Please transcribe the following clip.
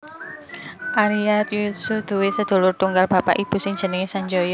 Arya Yuyutsuh duwé sedulur tunggal bapak ibu sing jenenge Sanjaya